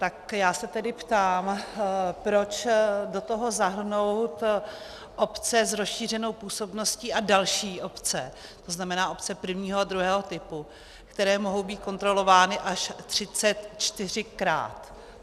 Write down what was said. Tak já se tedy ptám, proč do toho zahrnout obce s rozšířenou působností a další obce, to znamená obce prvního a druhého typu, které mohou být kontrolovány až 34krát.